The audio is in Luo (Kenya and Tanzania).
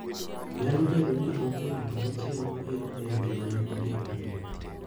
Nyalobedo ni onge ng`ato machielo mabiro ng`eyo gima ne otimoreno.